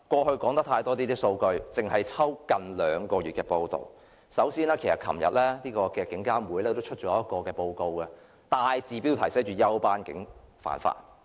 其實昨天獨立監察警方處理投訴委員會也發表了一個報告，報告大字標題寫着休班警員犯法。